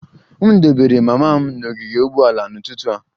M dobara mama m n'ogige ụgbọala n'ụtụtụ a